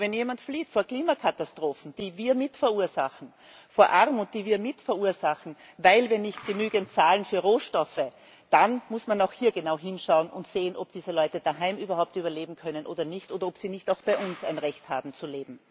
Aber wenn jemand flieht vor Klimakatastrophen, die wir mit verursachen, vor Armut, die wir mit verursachen, weil wir nicht genügend zahlen für Rohstoffe, dann muss man auch hier genau hinschauen und sehen, ob diese Leute daheim überhaupt überleben können oder nicht, oder ob sie nicht auch bei uns ein Recht haben zu leben.